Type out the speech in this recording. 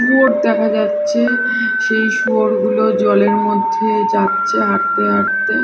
শুয়োর দেখা যাচ্ছে সেই শুয়োরগুলো জলের মধ্যে যাচ্ছে হাটতে হাটতে--